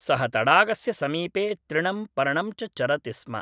सः तडागस्य समीपे तृणं पर्णञ्च चरति स्म।